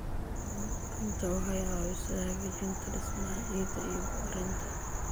Burburinta waxay caawisaa hagaajinta dhismaha ciidda iyo bacrinta.